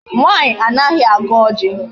Nwaanyị anaghị agọ ọjị.